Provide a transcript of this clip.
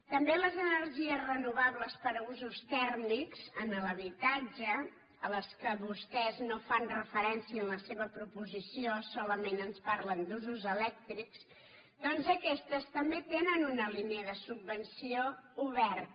també les energies renovables per a usos tèrmics en l’habitatge a les quals vostès no fan referència en la seva proposició solament ens parlen d’usos elèctrics doncs aquestes també tenen una línia de subvenció oberta